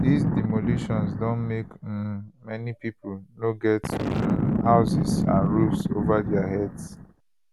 dis demolitions don make um many pipo no get um houses and roofs ova dia heads